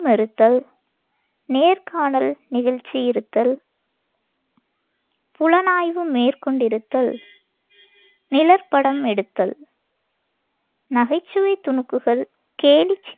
நேர்காணல் நிகழ்த்தியிருத்தல், புலனாய்வு மேற்கொண்டிருத்தல், நிழற்படம் எடுத்தல், நகைச்சுவைத் துணுக்குகள், கேலிச்